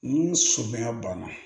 Ni sɔbɛ banna